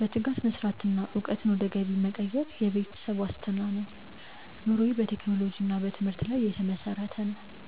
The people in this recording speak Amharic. በትጋት መስራትና እውቀትን ወደ ገቢ መቀየር ለቤተሰብ ዋስትና ነው። ኑሮዬ በቴክኖሎጂና በትምህርት ላይ የተመሰረተ ነው።